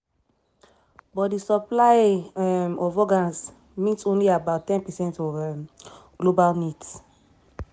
but di supply um of organs meet only about ten percent of um global need.